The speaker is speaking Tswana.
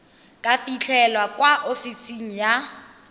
ka fitlhelwa kwa ofising ya